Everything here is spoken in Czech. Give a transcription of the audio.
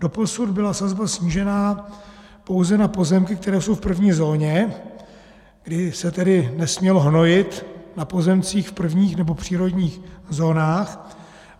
Doposud byla sazba snížena pouze na pozemky, které jsou v první zóně, kdy se tedy nesmělo hnojit na pozemcích v prvních nebo přírodních zónách.